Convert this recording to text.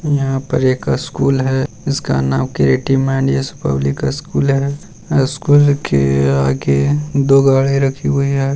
यहाँ पर एक स्कूल है जिसका नाम क्रिएटिव माइंड्स पब्लिक स्कूल है स्कूल के आगे दो गाड़ी राखी हुई हैं।